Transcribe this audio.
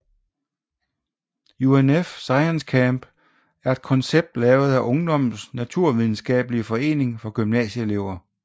UNF ScienceCamp er en koncept lavet af Ungdommens Naturvidenskabelige Forening for gymnasieelever